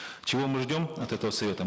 чего мы ждем от этого совета